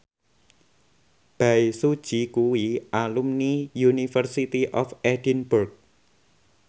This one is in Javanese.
Bae Su Ji kuwi alumni University of Edinburgh